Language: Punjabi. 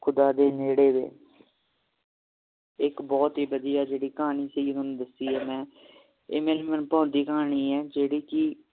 ਖੁਦਾ ਦੇ ਨੇੜੇ ਵੇ ਇੱਕ ਬਹੁਤ ਹੀ ਵਧੀਆ ਜਿਹੜੀ ਕਹਾਣੀ ਸੀ ਤੁਹਾਨੂੰ ਦੱਸੀ ਹੈ ਇਹ ਮੇਰੀ ਮਨਭਾਉਂਦੀ ਕਹਾਣੀ ਹੈ ਜਿਹੜੀ ਕਿ